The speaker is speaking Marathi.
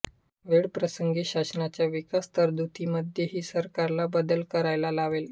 वेळप्रसंगी शासनाच्या विकास तरतुदीमध्ये ही सरकारला बदल करायला लावले